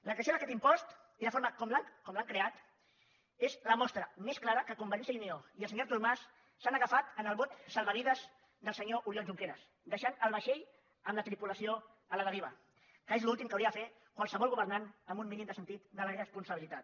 la creació d’aquest impost i la forma com l’han creat és la mostra més clara que convergència i unió i el senyor artur mas s’han agafat al bot salvavides del se nyor oriol junqueras i han deixat el vaixell amb la tripulació a la deriva que és l’últim que hauria de fer qualsevol governant amb un mínim de sentit de la responsabilitat